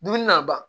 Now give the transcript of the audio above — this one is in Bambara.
Dumuni na ban